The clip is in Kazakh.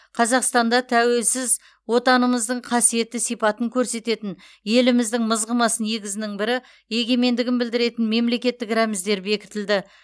қазақстанда тәуелсіз отанымыздың қасиетті сипатын көрсететін еліміздің мызғымас негізінің бірі егемендігін білдіретін мемлекеттік рәміздер бекітілді